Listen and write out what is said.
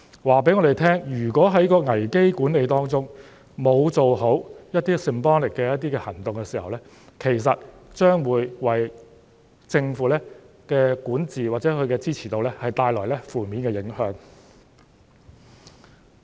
這告訴我們如果在危機管理中沒有做好一些 symbolic 的行動，其實將會為政府的管治或支持度帶來負面影響。